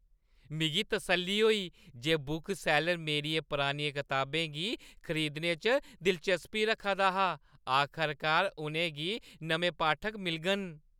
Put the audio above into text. मिगी तसल्ली होई जे बुकसैल्लर मेरियें परानियें कताबें गी खरीदने च दिलचस्पी रखदा हा। आखरकार उʼनें गी नमें पाठक मिलङन।